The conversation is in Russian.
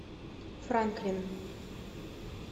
франклин